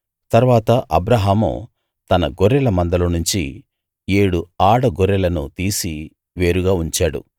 తరువాత అబ్రాహాము తన గొర్రెల మందలో నుంచి ఏడు ఆడ గొర్రెలను తీసి వేరుగా ఉంచాడు